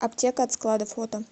аптека от склада фото